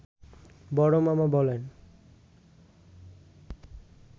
বড় মামা বলেন